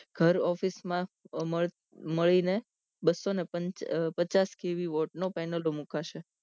ઘર ઓફિસમાં મળીને બસોને પચાસ નો કેવી વોટ નો પેનલદો મુકાશે